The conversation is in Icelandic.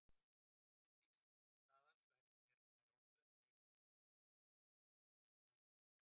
Án slíks staðals væri nær ómögulegt að eiga í tölvusamskiptum, til að mynda með tölvupósti.